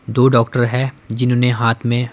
दो डॉक्टर हैं जिन्होंने हाथ में--